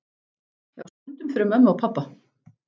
Já, stundum fyrir mömmu og pabba.